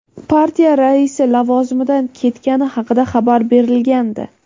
partiya raisi lavozimidan ketgani haqida xabar berilgandi.